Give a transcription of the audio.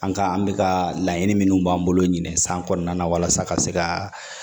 An ka an bɛ ka laɲini minnu b'an bolo ɲinɛ san kɔnɔna na walasa ka se ka